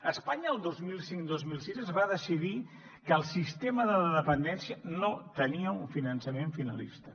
a espanya el dos mil cinc dos mil sis es va decidir que el sistema de la dependència no tenia un finançament finalista